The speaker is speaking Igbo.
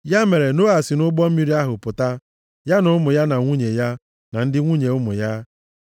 Ya mere, Noa si nʼụgbọ mmiri ahụ pụta, ya na ụmụ ya, na nwunye ya, na ndị nwunye ụmụ ya.